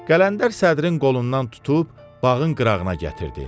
Qələndər sədrin qolundan tutub bağın qırağına gətirdi.